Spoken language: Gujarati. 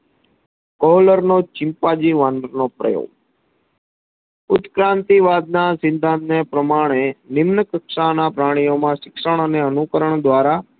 કોહલરનો ચિમ્પાન્જી વાંદરાનો પ્રયોગ ઉત ક્રાંતિવાદના સિદ્ધાંત ને પ્રમાણે ભિન્ન કક્ષાના પ્રણીઓમાં શિક્ષણ અને અનુકરણ દ્વારા